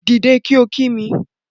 Dìde kí o kí mi